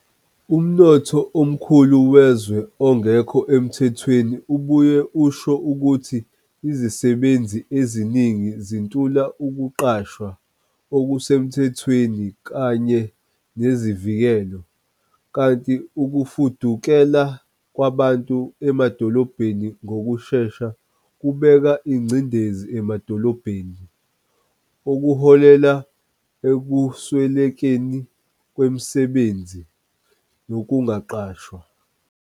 Umnotho omkhulu wezwe ongekho emthethweni ubuye usho ukuthi izisebenzi eziningi zintula ukuqashwa okusemthethweni kanye nezivikelo, kanti ukufudukela kwabantu emadolobheni ngokushesha kubeka ingcindezi emadolobheni, okuholela ekuswelekeni kwemisebenzi nokungaqashwa.